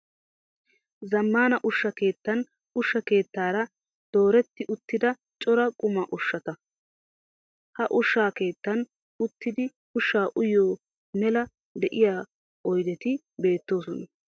Zammana ushsha keettan ushshaa keettaara dooretti uttida cora qommo ushshata. Ha ushsha keettan uttidi ushshaa uyiyoo mela de'iyaa oyideti beettoosona.